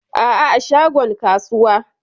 Aa, a shagon kasuwa.